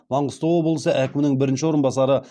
маңғыстау облысы әкімінің бірінші орынбасары